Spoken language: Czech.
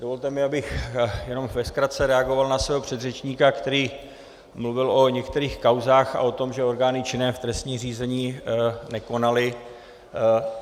Dovolte mi, abych jenom ve zkratce reagoval na svého předřečníka, který mluvil o některých kauzách a o tom, že orgány činné v trestním řízení nekonaly.